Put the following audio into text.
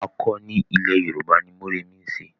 Àkọni ilẹ̀ Yorùbá ni Mórèmí ń ṣe.